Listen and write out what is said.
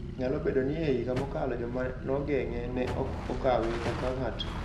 Nyalo bedo ni e higa mokalo, joma nogeng`e ne ok okawe kaka ng'at "maonge ketho"